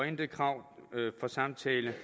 intet krav om samtale